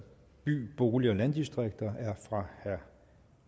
by bolig og landdistrikter er af herre